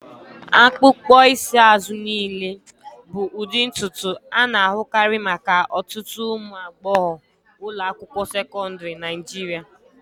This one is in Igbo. Akpụkpọ isi azụ niile bụ ụdị ntutu a na-ahụkarị maka ọtụtụ ụmụ agbọghọ ụlọ akwụkwọ sekọndrị Naijiria.